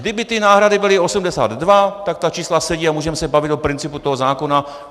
Kdyby ty náhrady byly 82, tak ta čísla sedí a můžeme se bavit o principu toho zákona.